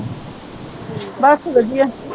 ਬਸ ਵਧੀਆ